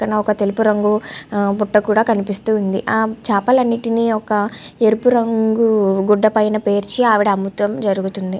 పక్కన ఒక తెలుపు రంగు ఆ బుట్ట కూడా కనిపిస్తుంది. ఆ చేపలన్నిటిని ఒక ఎరుపు రంగు గుడ్డ పైన పేర్చి ఆవిడ అమ్మతుం జరుగుతుంది.